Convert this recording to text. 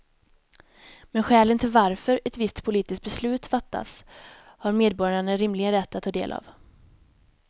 Men skälen till varför ett visst politiskt beslut fattas har medborgarna rimligen rätt att ta del av.